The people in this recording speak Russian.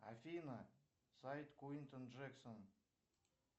афина сайт куинтон джексон